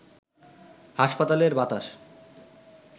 হাসপাতালের বাতাস